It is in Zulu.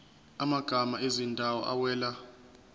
amagama ezindawo awela